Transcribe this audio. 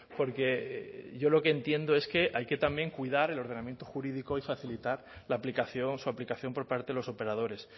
porque yo lo que entiendo es que hay que también cuidar el ordenamiento jurídico y facilitar la aplicación su aplicación por parte de los operadores